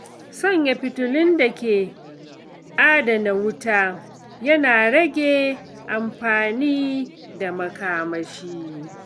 Sanya fitilun da ke adana wuta yana rage amfani da makamashi.